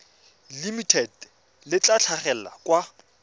limited le tla tlhagelela kwa